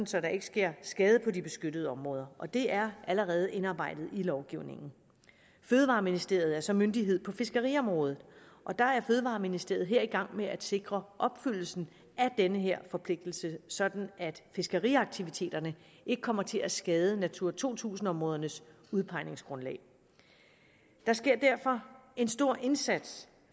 så der ikke sker skade på de beskyttede områder og det er allerede indarbejdet i lovgivningen fødevareministeriet er så myndighed på fiskeriområdet og der er fødevareministeriet i gang med at sikre opfyldelsen af den her forpligtelse så fiskeriaktiviteterne ikke kommer til at skade natura to tusind områdernes udpegningsgrundlag der sker derfor en stor indsats